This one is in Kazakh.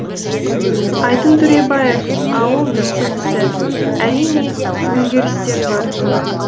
айдын төребаев ауыл белсендісі әрине өзгерістер бар